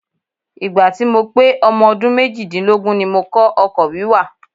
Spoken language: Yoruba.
Ìgbà tí mo pé ọmọ ọdún méjì-dínlógún ni mo kọ́ ọkọ̀ wíwà.